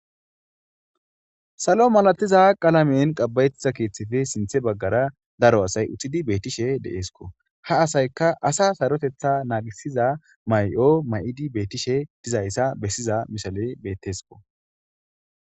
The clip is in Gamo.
Salo malatiza qalamen qabayettiza keeththefi sinthe baggara daro asay uttidi beettishe deeesko ha asayka asa sarotetha naagisiza may7o may7idi beettishe dizayssa bessiza mishaley bettesko.